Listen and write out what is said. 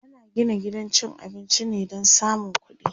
ana Gina gidan cin abinci ne Dan samun ƙuɗi